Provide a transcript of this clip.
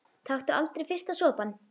Taktu aldrei fyrsta sopann!